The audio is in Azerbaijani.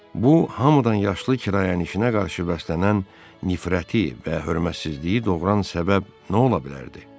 Bu hamıdan yaşlı kirayənişinə qarşı bəslənən nifrəti və hörmətsizliyi doğuran səbəb nə ola bilərdi?